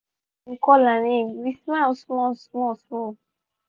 we um record am as um e um dey play with hin babi for mat